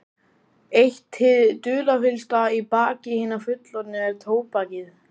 Eitt hið dularfyllsta í fari hinna fullorðnu er tóbakið.